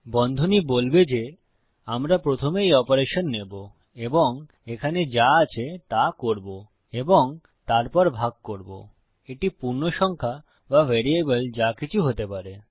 বন্ধনী বলবে যে আমরা প্রথমে এই অপারেশন নেবো এবং এখানে যা আছে তা করবো এবং তারপর ভাগ করবো এটি পূর্ণসংখ্যা বা ভ্যারিয়েবল যা কিছু হতে পারে